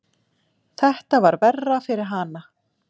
Þetta var verra fyrir hana.